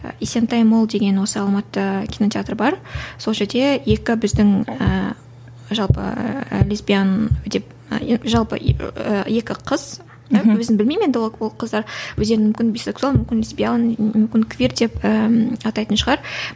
есентай мол деген осы алматыда кинотеатр бар сол жерде екі біздің ііі жалпы лесбиян деп енді жалпы екі қыз өзім білмеймін енді ол ол қыздар өздерін мүмкін бисексуал мүмкін лесбиян мүмкін квир деп ііі атайтын шығар